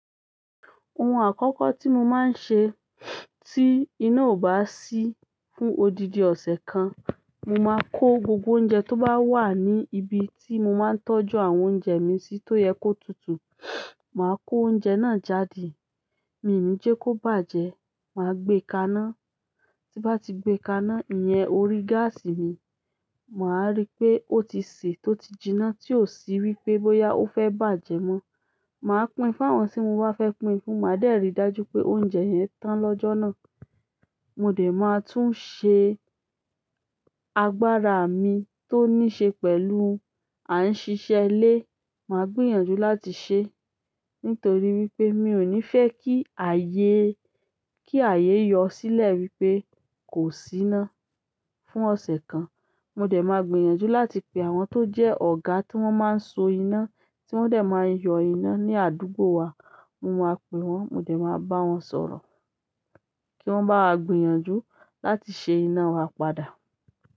Ohun àkọkọ ti mo ma n se ti ina o ba si fún odidi ọsẹ kan, mo ma ko gbo gbo oúnjẹ to ba wa ni ibi ti mo ma n tọ́jú àwọn oúnjẹ mi si to yẹ ko tutu, maa ko oúnjẹ náà jáde. Mí ò ní jẹ́ kó bàjẹ́, màá gbé kaná. Tí bá ti gbé kaná, ìyẹn orí gáàsì mi, màá rí i pé ó ti sè tó ti jiná tí ò sí wípé bóyá ó fẹ́ bàjẹ́ mọ́. Màá pín fún àwọn tí mo bá fẹ́ pín fún, màá dẹ̀ rí i dájú pé oúnjẹ yẹn tán lọ́jọ́ náà. Mo dé maa tun ṣe agbára mii to ni se pẹ̀lú a n ṣiṣe ilé, maa gbìyànjú láti ṣe. Nítorí wípé mi ò ní fẹ́ kí ààyè, kí ààyè yọ sílẹ̀ wípé kò sí iná. Fún ọ̀sẹ̀ kan, mo dẹ̀ máa gbìyànjú láti pe àwọn tó jẹ́ ọ̀gá tí wón máa ń so iná, tí wón dẹ̀ máa ń yọ iná ní àdúgbò wa, mo máa pe wón, mo dẹ̀ máa bá wọn sọ̀rọ̀ kí wọ́n bá wa gbìyànjú láti ṣe iná wa padà.